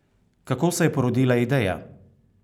Kako se je porodila ideja?